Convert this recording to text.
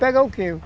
Pega o quê?